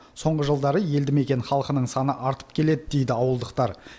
соңғы жылдары елді мекен халқының саны артып келеді дейді ауылдықтар